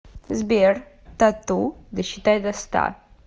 сбер т а т у досчитай до ста